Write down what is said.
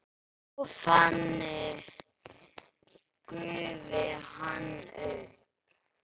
Og þannig gufi hann upp?